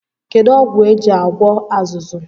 Kedụ ọgwụ e ji agwọ azụzụ?